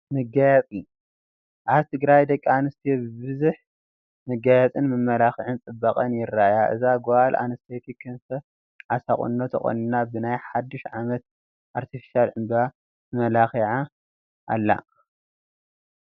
መጋየፂ፡- ኣብ ትግራይ ደቂ ኣንስትዮ ብብዙሕ መጋየፅን መመላኽዕን ፅባቐአን የርእያ፡፡ እዛ ጓል ኣነስተይቲ ክንፈ ዓሳ ቁኖ ተቆኒና ብናይ ሓዱሽ ዓመት ኣርቴፊሻል ዕንበባ ትመላኻዕ ኣላ፡፡